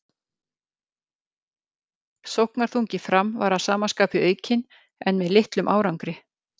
Sóknarþungi Fram var að sama skapi aukinn en með litlum árangri.